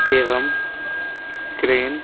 एवं क्रेन --